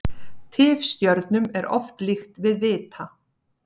Tifstjörnum er oft líkt við vita.